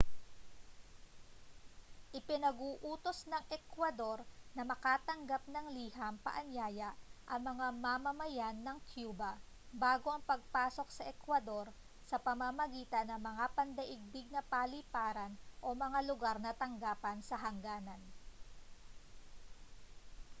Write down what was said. ipinag-uutos ng ecuador na makatanggap ng liham paanyaya ang mga mamamayan ng cuba bago ang pagpasok sa ecuador sa pamamagitan ng mga pandaigdig na paliparan o mga lugar ng tanggapan sa hangganan